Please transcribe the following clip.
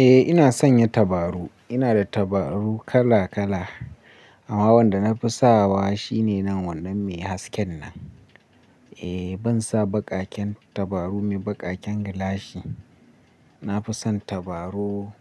Eh ina sanya tabarau. Ina da tabaru kala kala amma wanda na fi sawa shine nan wannan mai hasken nan. Eh ban sa baƙaken tabaru mai baƙaken gilashi. Na fi son tabarau